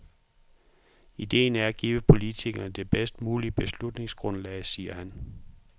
Ideen er at give politikerne det bedst muligt beslutningsgrundlag, siger han.